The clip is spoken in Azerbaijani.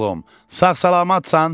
sağ-salamat san?